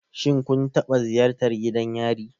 Shin kun taɓa ziyartar gidan yari?